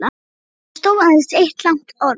Þar stóð aðeins eitt langt orð